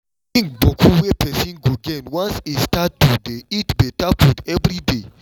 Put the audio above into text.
thing boku wey person go gain once e start to dey eat better food every day